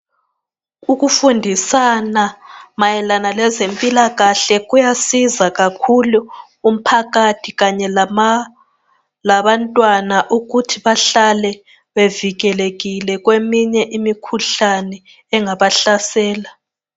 Ukufundisana mayelana lezempilakahle kuyasiza kakhulu umphakathi kanye labantwana ukuthi bahlale bevikelekile kweminye imikhuhlane engabahlasela.